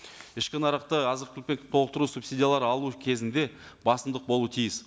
ішкі нарықты азық түлікпен толықтыру субсидиялар алу кезінде басымдық болу тиіс